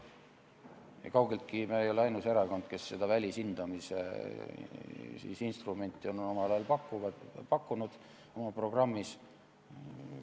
Me ei ole kaugeltki ainus erakond, kes välishindamise instrumenti on omal ajal oma programmis pakkunud.